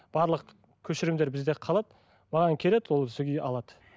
барлық көшірімдер бізде қалады маған келеді ол сол күйі алады